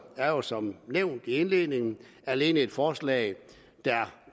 er jo som nævnt i indledningen alene et forslag